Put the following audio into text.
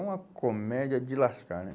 É uma comédia de lascar, né?